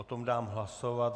O tom dám hlasovat.